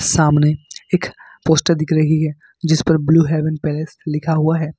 सामने एक पोस्टर दिख रही है जिसपर ब्लू हेवेन पैलेस लिखा हुआ है।